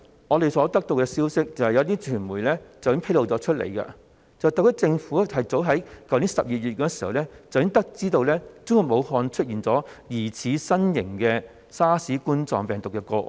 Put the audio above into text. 我們所得到的消息是，有些傳媒已披露，特區政府早於去年12月已得知中國武漢出現疑似新型冠狀病毒的個案。